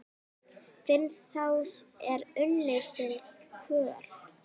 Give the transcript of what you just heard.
Finnst sá er unnir sinni kvöl?